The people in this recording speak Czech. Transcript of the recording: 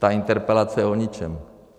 Ta interpelace je o ničem.